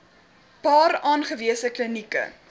paar aangewese klinieke